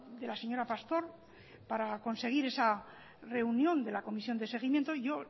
de la señora pastor para conseguir esa reunión de la comisión de seguimiento yo